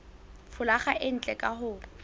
folaga e ntle ka ho